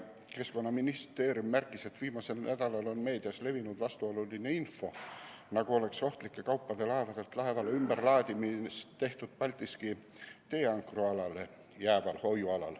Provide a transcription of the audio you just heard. Keskkonnaministeerium märkis, et viimasel nädalal on meedias levinud vastuoluline info, nagu oleks ohtlike kaupade laevadelt laevadele ümberlaadimist tehtud Paldiski D‑ankrualale jääval hoiualal.